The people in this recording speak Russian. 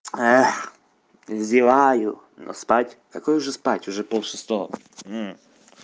эх зеваю но спать какое уже спать уже пол шестого